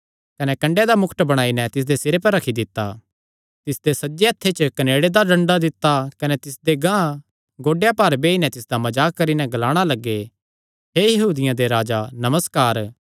कने कन्डेयां दा मुकट बणाई नैं तिसदे सिरे पर रखी दित्ता तिसदे सज्जे हत्थ च कनेड़े दा डंडा दित्ता कने तिसदे गांह गोड्डेयां भार बेई नैं तिसदा मजाक करी नैं ग्लाणा लग्गे हे यहूदियां दे राजा नमस्कार